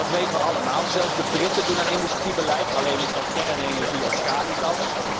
Dat weten we allemaal, zelfs de Britten doen aan industriebeleid, alleen is dat op basis van kernenergie of schaliegas.